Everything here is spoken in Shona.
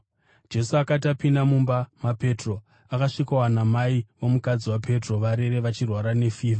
Jesu akati apinda mumba maPetro, akasvikowana mai vomukadzi waPetro varere vachirwara nefivha.